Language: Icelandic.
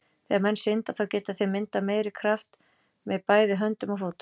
Þegar menn synda, þá geta þeir myndað meiri kraft með bæði höndum og fótum.